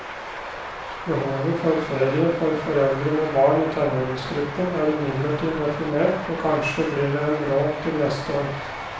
Behovet for ferie for foreldre med barn i tenåringsgruppen er imidlertid definert, og kanskje blir det en råd til neste år.